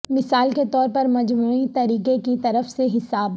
مثال کے طور پر مجموعی طریقہ کی طرف سے حساب